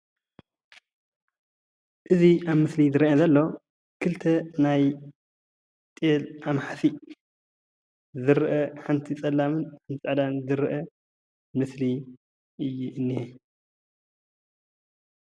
እዚ ኣብ ምስሊ ዝርአ ዘሎ ኽልተ ናይ ጥየል ኣማሕሲእ ዝርአ ሓንቲ ፀላምን ፃዕዳን ዝርአ ምስሊ እዩእኒሀ።